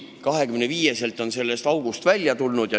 Aga 25-selt on ta sellest august välja tulnud.